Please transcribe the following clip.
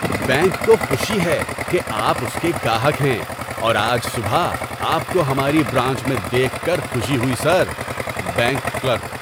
Bank کو خوشی ہے کہ آپ اس کے گاہک ہیں اور آج صبح آپ کو ہماری برانچ میں دیکھ کر خوشی ہوئی، سر! (بینک کلرک)